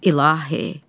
İlahi.